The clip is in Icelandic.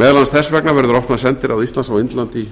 meðal annars þess vegna verður opnað sendiráð íslands á indlandi